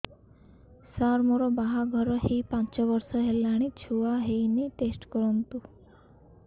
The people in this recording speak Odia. ସାର ମୋର ବାହାଘର ହେଇ ପାଞ୍ଚ ବର୍ଷ ହେଲାନି ଛୁଆ ହେଇନି ଟେଷ୍ଟ କରନ୍ତୁ